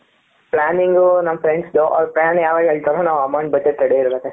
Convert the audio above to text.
Planning ನಮ್ಮ friends ದು ಅವರು plan ಯಾವಾಗ ಹೇಳುತ್ತಾರೋ ನಾವು amount ಬಡ್ಜೆಟ್ ರೆಡಿ ಇರಬೇಕು ಅಷ್ಟೇ.